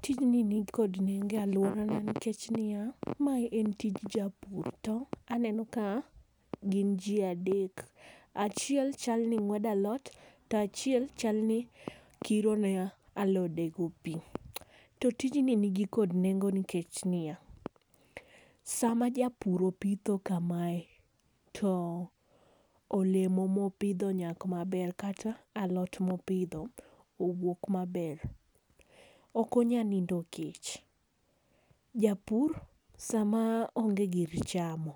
Tijni ni kod nengo e aluora nikech ni ya, ma en tich japur to aneno ka gin ji adek. Achiel chal ni ngwedo alot to achiel chal ni kiro ne alode go pi. To tijni ni gi kod nengo nikech ni ya, saa ma japur opitho ka mae to olemo ma opidho nyak ma ber kata alot ma opidho owuok ma ber ok onya nindo kech. Japur sama onge gir chamo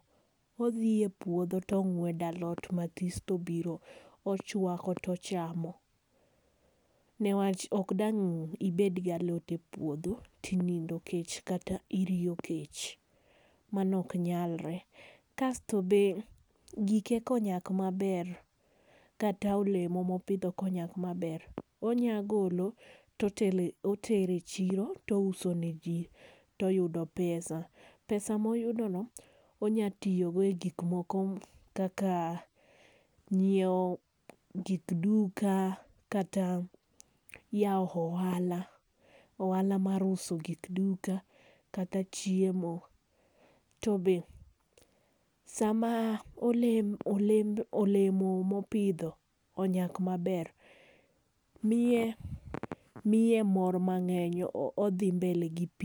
odhi e puodho to ongwedo lot ma this to obiro ochwako to ochamo ne wach ok dang ibet gi alot e puodho to inindo kech kata iriyo kech, mano ok nyalre. Kasto be gike ka onyak ma ber kata olemo ka onyak ma ber onya golo to otelo otero e chiro to ouso ne ji to oyudo pesa. Pesa ma oyudo no onya tiyo go e gik moko kaka nyiewo gik duka kata yawo ohala, ohala mar uso gik duka kata chiemo. To be saa ma olemo olembe ma pidho onyak ma ber miye mor ma ngeny odhi mbele gi pitho.